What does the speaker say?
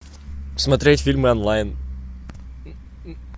смотреть фильмы онлайн